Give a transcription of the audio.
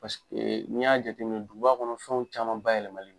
n'i y'a jateminɛ duguba kɔnɔ fɛnw caman bayɛlɛmanen